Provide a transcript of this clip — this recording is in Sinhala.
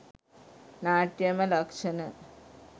නාට්‍යමය ලක්ෂණ